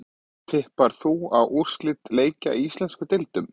Tippar þú á úrslit leikja í íslensku deildunum?